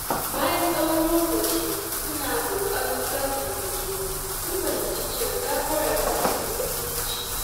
Bayan tsawon lokaci suna ƙoƙarin sasanta juna, sun fahimci cewa gafara tana da muhimmanci.